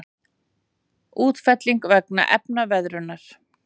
Útfelling vegna efnaveðrunar.